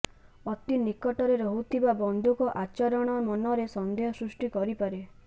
ଅତି ନିକଟରେ ରହୁଥିବା ବନ୍ଧୁଙ୍କ ଆଚରଣ ମନରେ ସନ୍ଦେହ ସୃୃଷ୍ଟି କରିପାରେ